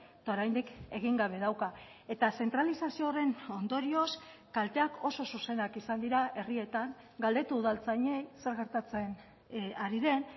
eta oraindik egin gabe dauka eta zentralizazio horren ondorioz kalteak oso zuzenak izan dira herrietan galdetu udaltzainei zer gertatzen ari den